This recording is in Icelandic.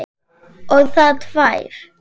Og það tvær.